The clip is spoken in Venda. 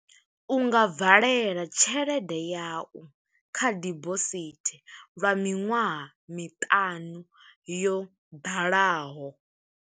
U nga valela tshelede yau kha dibosithi, lwa miṅwaha miṱanu yo ḓalaho.